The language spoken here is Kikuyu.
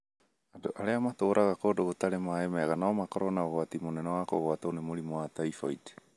Andũ arĩa matũũraga kũndũ gũtarĩ maaĩ mega no makorũo na ũgwati mũnene wa kũgwatwo nĩ mũrimũ wa typhoid.